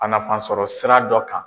A nafansɔrɔ sira dɔ kan.